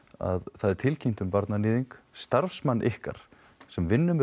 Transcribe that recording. það er tilkynnt um barnaníðing starfsmann ykkar sem vinnur með